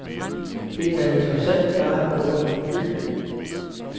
Det er interessant bare at gå rundt i byen.